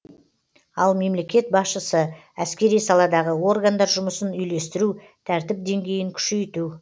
ал мемлекет басшысы әскери саладағы органдар жұмысын үйлестіру тәртіп деңгейін күшейту